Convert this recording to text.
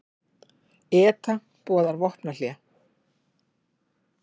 ETA boðar vopnahlé